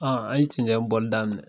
Ɔn an ye cɛncɛn bɔli daminɛ